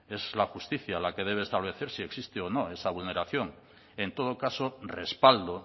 es la justicia la que debe establecer si existe o no esa vulneración en todo caso respaldo